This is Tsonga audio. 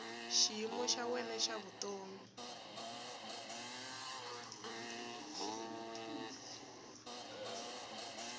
xiyimo xa wena xa vutomi